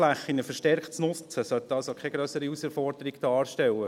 Solche Flächen verstärkt zu nutzen sollte also keine grössere Herausforderung darstellen.